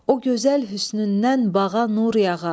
O gözəl hüsnündən bağa nur yağa.